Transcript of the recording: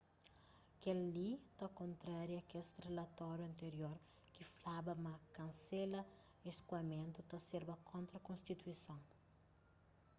kel-li ta kontraria kes rilatoriu antirior ki flaba ma kansela skoamentu ta serba kontra konstituison